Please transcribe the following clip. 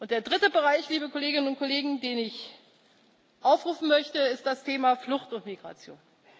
Der dritte Bereich, liebe Kolleginnen und Kollegen, den ich aufrufen möchte, ist das Thema Flucht und Migration.